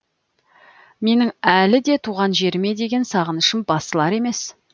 менің әлі де туған жеріме деген сағынышым басылар емес